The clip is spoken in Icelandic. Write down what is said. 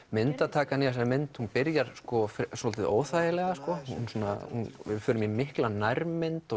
myndatakan í þessari mynd byrjar soldið óþægilega við förum í mikla nærmynd og